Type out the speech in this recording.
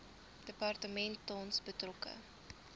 departement tans betrokke